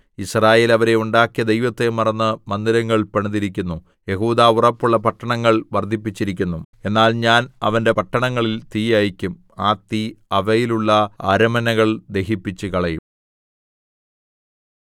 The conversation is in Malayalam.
യിസ്രായേൽ അവരെ ഉണ്ടാക്കിയ ദൈവത്തെ മറന്ന് മന്ദിരങ്ങൾ പണിതിരിക്കുന്നു യെഹൂദാ ഉറപ്പുള്ള പട്ടണങ്ങൾ വർദ്ധിപ്പിച്ചിരിക്കുന്നു എന്നാൽ ഞാൻ അവന്റെ പട്ടണങ്ങളിൽ തീ അയയ്ക്കും ആ തീ അവയിലുള്ള അരമനകൾ ദഹിപ്പിച്ചുകളയും